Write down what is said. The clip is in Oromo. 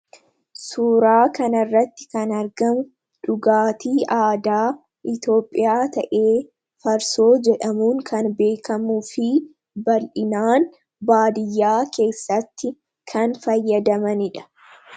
Suuraa kanarratti kana argamu dhugaatii aadaa Itoophiyaa ta'ee farsoo jedhamuu kan beekamuu fi bal'inaan baadiyyaa keessatti kan fayyadamanidha.